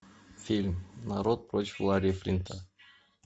фильм народ против ларри флинта